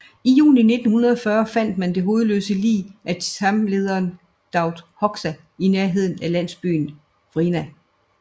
I juni 1940 fandt man det hovedløse lig af Cham lederen Daut Hoxha i nærheden af landsbyenVrina